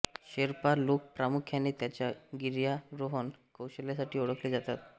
शेर्पा लोक प्रामुख्याने त्यांच्या गिर्यारोहण कौशल्यासाठी ओळखले जातात